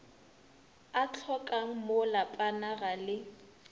o hlokangmo lapana ga le